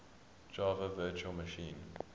java virtual machine